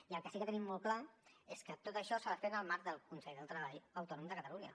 i el que sí que tenim molt clar és que tot això s’ha de fer en el marc del consell del treball autònom de catalunya